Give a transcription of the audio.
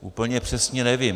Úplně přesně nevím.